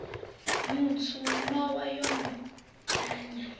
mutswu nowa yo no penya